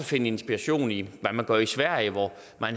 finde inspiration i hvad man gør i sverige her